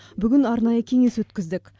бүгін арнайы кеңес өткіздік